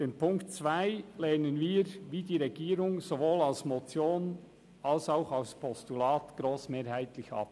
Den Punkt 2 lehnen wir wie die Regierung sowohl als Motion als auch als Postulat grossmehrheitlich ab.